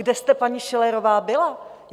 Kde jste, paní Schillerová, byla?